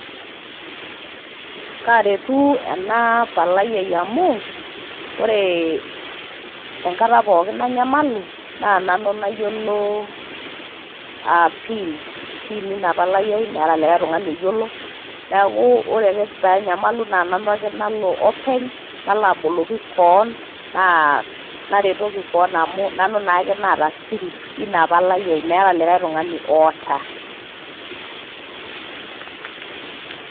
Kaaretu ena palai ai amu oree enkata pookin nanyamalu naa nanu nayiolo a PIN PIN ina palai ai meeta likai tung'ani oyiolo, neeku ore ake paanyamalu naa nanu ake nalo openy nalo aboloki koon naa naretoki koon amu nanu naake naata siri ina palai ai, meeta likai tung'ani oota.